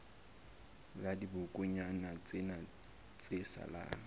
la dibokonyana tsena tse salang